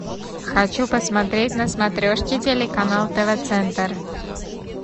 хочу посмотреть на смотрешке телеканал тв центр